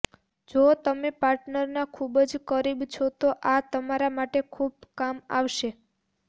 જો તમે પાર્ટનરના ખુબ જ કરીબ છો તો આ તમારા માટે ખુબ કામ આવશે